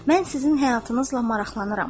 Mən sizin həyatınızla maraqlanıram.